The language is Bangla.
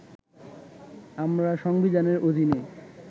আমরা সংবিধানের অধীনে